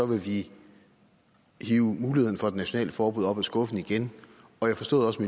vil vi hive mulighederne for det nationale forbud op af skuffen igen jeg forstod også